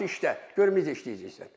Dedi, yaxşı işlə, görüm necə işləyəcəksən.